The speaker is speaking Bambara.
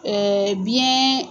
biyɛn